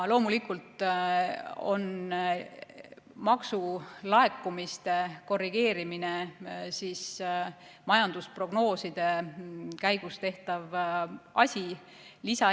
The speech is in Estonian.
Loomulikult on maksulaekumiste korrigeerimine majandusprognooside käigus tehtav asi.